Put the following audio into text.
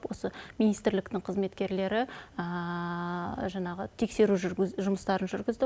осы министрліктің қызметкерлері жаңағы тексеру жұмыстарын жүргізді